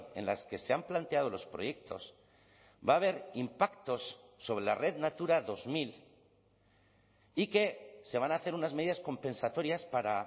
en las que se han planteado los proyectos va a haber impactos sobre la red natura dos mil y que se van a hacer unas medidas compensatorias para